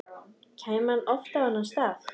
Kæmi hann oft á þennan stað?